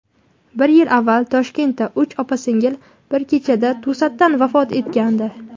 Bir yil avval Toshkentda uch opa-singil bir kechada to‘satdan vafot etgandi.